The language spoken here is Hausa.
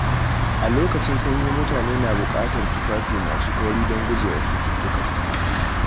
A lokacin sanyi, mutane na bukatar tufafi masu kauri don gujewa cututtuka.